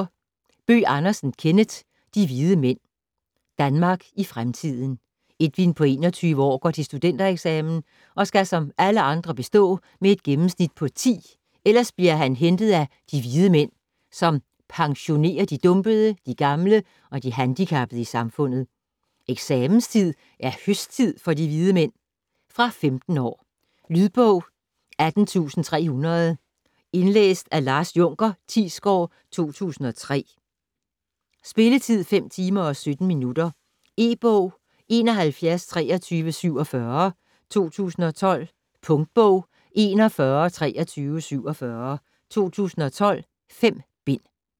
Bøgh Andersen, Kenneth: De Hvide Mænd Danmark i fremtiden. Edwin på 21 år går til studentereksamen og skal som alle andre bestå med et gennemsnit på 10, ellers bliver man hentet af De Hvide Mænd, som "pensionerer" de dumpede, de gamle og de handicappede i samfundet. Eksamenstid er "høsttid" for De Hvide Mænd ... Fra 15 år. Lydbog 18300 Indlæst af Lars Junker Thiesgaard, 2003. Spilletid: 5 timer, 17 minutter. E-bog 712347 2012. Punktbog 412347 2012. 5 bind.